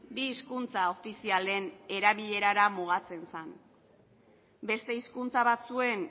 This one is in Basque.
bi hizkuntza ofizialen erabilerara mugatzen zen beste hizkuntza batzuen